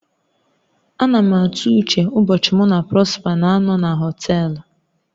A na m atụ uche ụbọchị mụ na Prosper na-anọ na họtelu